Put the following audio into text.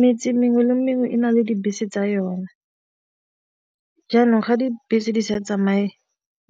Metse mengwe le mengwe e na le dibese tsa yona, jaanong ga dibese di sa tsamaye